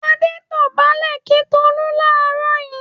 Adé dọ̀bálẹ̀ kí Tolú láàárọ̀ yìí.